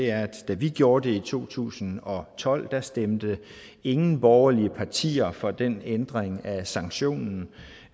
er at da vi gjorde det i to tusind og tolv stemte ingen borgerlige partier for den ændring af sanktionen